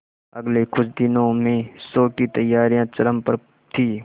अगले कुछ दिनों में शो की तैयारियां चरम पर थी